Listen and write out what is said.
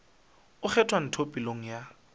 o kgwatha ntho pelong ya